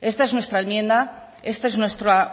esta es nuestra enmienda esta es nuestra